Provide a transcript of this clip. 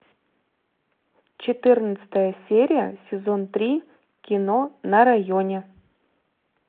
четырнадцатая серия сезон три кино на районе